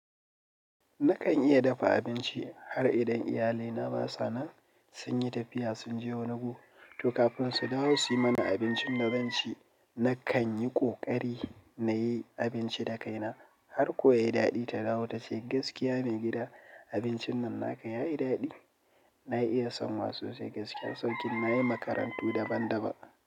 Nakan iya dafa abinci har idan iyalina ba sa nan, sun yi tafiya sun je wani gu, to kafin su dawo su yi mana abincin da zan ci. Nakan yi ƙoƙari na yi abinci da kaina har ko ya yi daɗi, ta ɗawo ta ce gaskiya mai gida abincin nan naka ya yi daɗi. Na iya sanwa sosai. Gaskiya, sauƙin nayi makarantu daban daban.